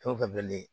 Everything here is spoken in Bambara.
Fɛn o fɛn bilen